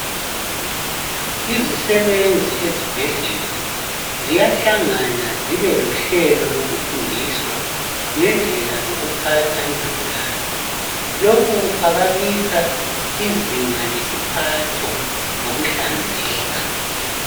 Izisebenzi ezibhedlela ziyahlangana zibe lohlelo lokufundiswa ngendlela zokuphatha izigulane. Lokhu kuphakamisa izinga lesiphatho lokuhlanzeka.